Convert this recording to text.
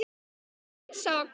Já, Dísa var komin.